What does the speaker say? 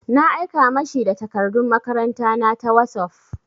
Na aika ma shi da takardun makaranta na ta wosof.